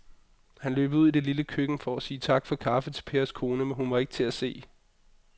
Han løb ud i det lille køkken for at sige tak for kaffe til Pers kone, men hun var ikke til at se.